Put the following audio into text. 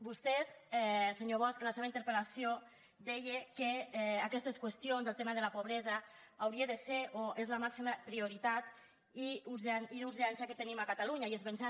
vostè senyor bosch en la seva interpel·lació deia que aquestes qüestions el tema de la pobresa hauria de ser o és la màxima prioritat i urgència que tenim a catalunya i és ben cert